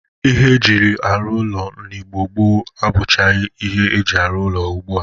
Ihe ejiri arụ ụlọ n'Igbo gboo abụchagị ihe eji arụ ụlọ ugbu a.